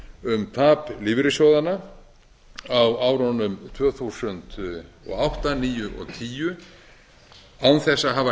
um tap lífeyrissjóðanna á árunum tvö þúsund og átta tvö þúsund og níu og tvö þúsund og tíu án þess að hafa